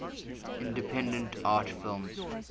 independent art films